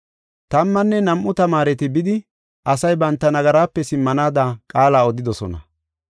Tammanne nam7u tamaareti bidi, asay banta nagaraape simmanaada qaala odidosona.